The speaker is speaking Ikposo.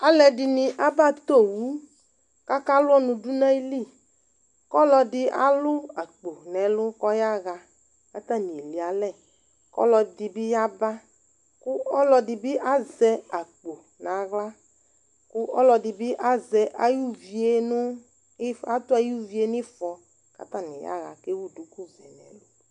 Alʋ ɛdɩnɩ aba tɔ owu kaka lʋ ɔnʋ dʋ nayili Kɔlɔdɩ alʋ akpo nɛlʋ kɔyaɣa, katanɩ elialɛ, kɔlɔdɩ bɩ yaba, kʋ ɔlɔdɩ bɩ azɛ akpo naɣla, kʋ ɔlɔdɩ bɩ azɛ ayʋ uvie nʋ atʋ ayuvie nɩfɔ katanɩ yaɣa